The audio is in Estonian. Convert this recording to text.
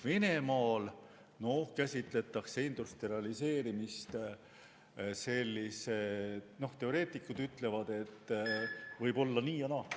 Venemaal käsitletakse industrialiseerimist selliselt, et teoreetikud ütlevad, et võib olla nii ja naa.